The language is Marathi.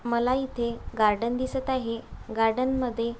मला इथे गार्डन दिसत आहे गार्डन मध्ये --